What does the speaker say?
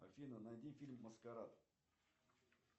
афина найди фильм маскарад